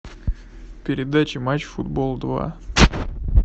передача матч футбол два